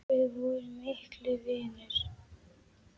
Við vorum miklir vinir.